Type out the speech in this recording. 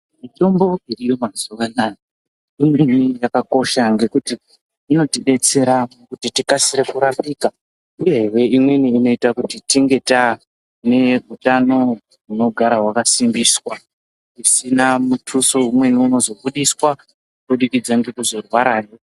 Mitombo iriyo mazuwa anaya imweni yakakosha ngekuti inotidetsera kuti tikasire kurapika uyehe imweni inoita kuti tinge taane utano hunogara hwakasimbiswa hudina mituso imweni inozobudiswa kubudikidza ngekurwarahe.